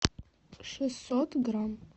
шестьсот грамм